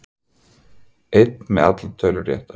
Einn með allar tölur réttar